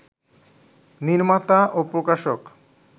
নির্মাতা ও প্রকাশক